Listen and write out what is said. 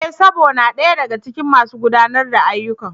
E! Sabo na daya daga cikin masu gudanar da ayyukan.